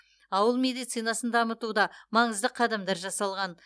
ауыл медицинасын дамытуда маңызды қадамдар жасалған